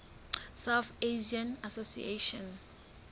south asian association